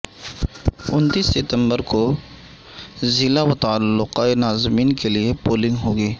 انتیس ستمبر کو ضلع و تعلقہ ناظمین کے لیے پولنگ ہوگی